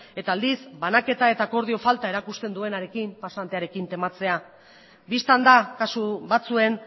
eta aldiz banaketa eta akordio falta erakusten duenarekin pasantearekin tematzea bistan da kasu batzuen